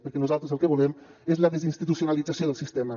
perquè nosaltres el que volem és la desinstitucionalització del sistema